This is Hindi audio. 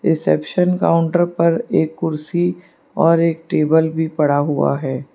रिसेप्शन काउंटर पर एक कुर्सी और एक टेबल भी पड़ा हुआ है।